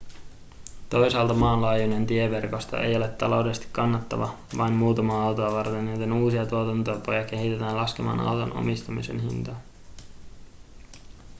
toisaalta maanlaajuinen tieverkosto ei ole taloudellisesti kannattava vain muutamaa autoa varten joten uusia tuotantotapoja kehitetään laskemaan auton omistamisen hintaa